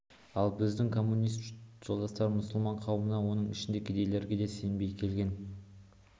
ал біздің коммунист жолдастар мұсылман қауымына оның ішінде кедейлерге де сенбей келген